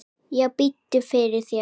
Já, biddu fyrir þér.